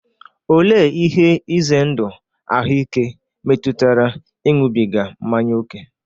Olee ihe ize ndụ ahụike metụtara ịṅụbiga mmanya ókè?